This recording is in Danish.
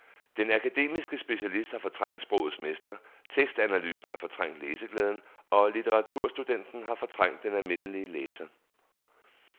Den akademiske specialist har fortrængt sprogets mester, tekstanalysen har fortrængt læseglæden og litteraturstudenten har fortrængt den almindelige læser.